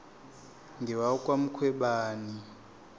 ngewakwamkhwebani